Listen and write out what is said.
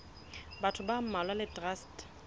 batho ba mmalwa le traste